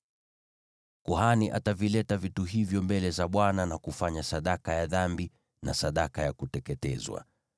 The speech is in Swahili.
“ ‘Kuhani atavileta vitu hivyo mbele za Bwana na kufanya sadaka ya dhambi na sadaka ya kuteketezwa.